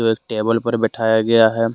जो एक टेबल पर बैठाया गया है।